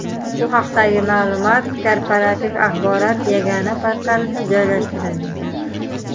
Bu haqdagi ma’lumot Korporativ axborot yagona portalida joylashtirilgan .